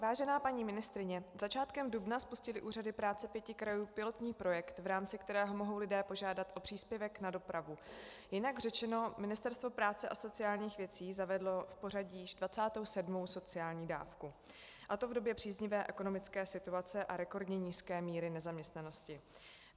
Vážená paní ministryně, začátkem dubna spustily úřady práce pěti krajů pilotní projekt, v rámci kterého mohou lidé požádat o příspěvek na dopravu, jinak řečeno, Ministerstvo práce a sociálních věcí zavedlo v pořadí již 27. sociální dávku, a to v době příznivé ekonomické situace a rekordně nízké míry nezaměstnanosti.